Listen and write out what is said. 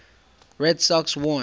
red sox won